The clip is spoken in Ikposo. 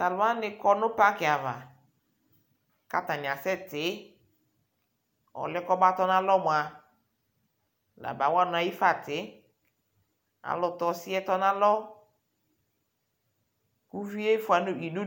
Tʋ alʋ wanɩ kɔ nʋ paki ava kʋ atanɩ asɛtɩ Ɔlʋ yɛ kʋ ɔmatɔ nʋ alɔ mʋa, la mawa nʋ eyi fa atɩ Alʋ tɛ ɔsɩ tɔ nʋ alɔ Uvi yɛ fʋa idu du